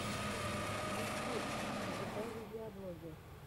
ютьюб врубай видеоблоги